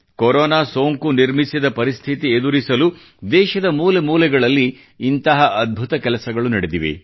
corona ಸೋಂಕು ನಿರ್ಮಿಸಿದ ಪರಿಸ್ಥಿತಿ ಎದುರಿಸಲು ದೇಶದ ಮೂಲೆಮೂಲೆಯಲ್ಲಿ ಇಂಥ ಅದ್ಭುತ ಕೆಲಸಗಳು ನಡೆದಿವೆ